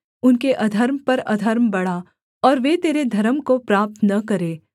उनके अधर्म पर अधर्म बढ़ा और वे तेरे धर्म को प्राप्त न करें